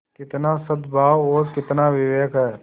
कितना सदभाव और कितना विवेक है